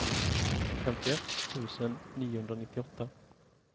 femtioett tusen niohundranittioåtta